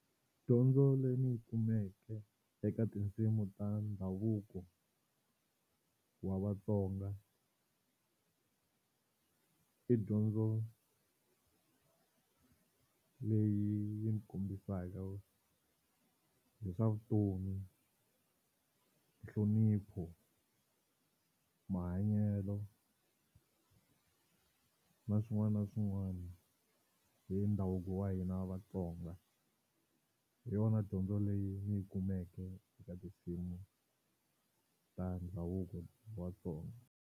Dyondzo leyi ndzi yi kumeke eka tinsimu ta ndhavuko wa Vatsonga i dyondzo leyi kombisaka hi swa vutomi, nhlonipho, mahanyelo na swin'wana na swin'wana hi ndhavuko wa hina Vatsonga hi yona dyondzo leyi ndzi yi kumeke eka tinsimu ta ndhavuko wa Vatsonga.